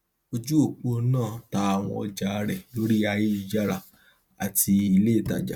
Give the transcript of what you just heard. ojúòpó náà ta àwọn ọjà rẹ lórí ayélujára àti ilé ìtajà